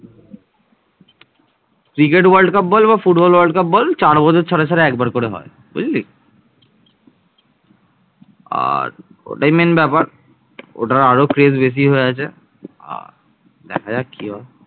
তারা দক্ষিণ পূর্ব এশিয়ার সুমাত্রা দ্বীপে এরকম একটি বিরাট সাম্রাজ্য গড়ে তুলেছিলেন